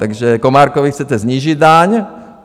Takže Komárkovi chcete snížit daň.